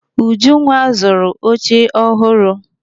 Ujunwa zụrụ oche ọhụrụ.